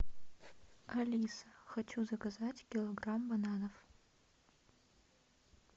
алиса хочу заказать килограмм бананов